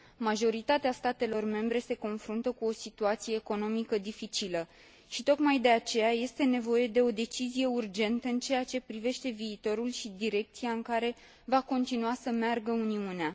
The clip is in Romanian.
Majoritatea statelor membre se confruntă cu o situație economică dificilă și, tocmai de aceea, este nevoie de o decizie urgentă în ceea ce privește viitorul și direcția în care va continua să meargă Uniunea.